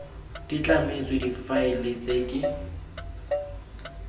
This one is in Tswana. di tlametswe difaele tse ke